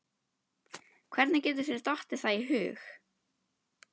Hvernig getur þér dottið það í hug!